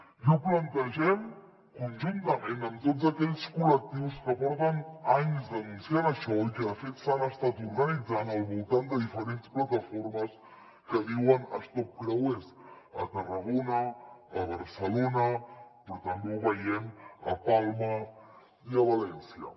i ho plantegem conjuntament amb tots aquells col·lectius que porten anys denunciant això i que de fet s’han estat organitzant al voltant de diferents plataformes que es diuen stop creuers a tarragona a barcelona però també ho veiem a palma i a valència